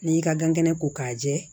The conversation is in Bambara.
N'i y'i ka gan kɛnɛ ko k'a jɛ